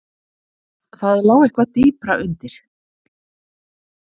Það lá eitthvað dýpra undir.